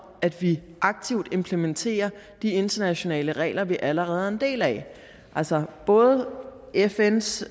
at vi aktivt implementerer de internationale regler vi allerede er en del af altså både fns